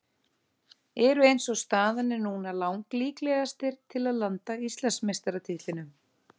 Eru eins og staðan er núna lang líklegastir til að landa Íslandsmeistaratitlinum.